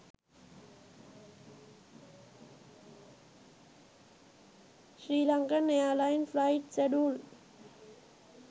sri lankan airline flight schedule